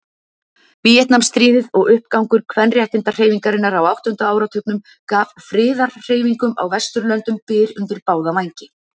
Víetnamstríðið og uppgangur kvenréttindahreyfingarinnar á áttunda áratugnum gaf friðarhreyfingum á Vesturlöndum byr undir báða vængi.